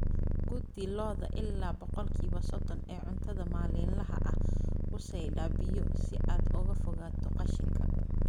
Quudi lo'da ilaa boqolkiba sodon ee cuntada maalinlaha ah; ku saydhaa biyo si aad uga fogaato qashinka